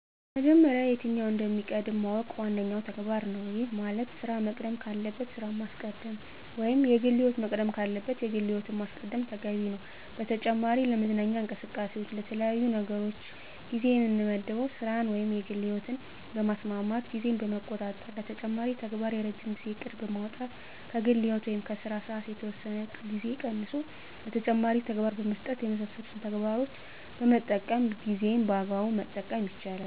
በመጀመሪያ የትኛው እንደሚቀድም ማወቅ ዋነኛው ተግባር ነው። ይህ ማለት ስራ መቅደም ካለበት ስራን ማስቀደም ወይም የግል ህይወት መቅደም ካለበት የግል ህይወትን ማስቀደም ተገቢ ነው። በተጨማሪ ለመዝናኛ እንቅስቃሴዎች ለተለያዩ ነገሮች ጊዜ የምመድበው ስራን ወይም የግል ህይወትን በማስማማት ጊዜን በመቆጣጠር ለተጨማሪ ተግባር የረጅም ጊዜ እቅድ በማውጣት ከግል ህይወት ወይም ከስራ ሰዓት የተወሰነ ጊዜ ቀንሶ ለተጨማሪ ተግባር በመስጠት የመሳሰሉትን ተግባሮችን በመጠቀም ጊዜን በአግባቡ መጠቀም ይቻላል።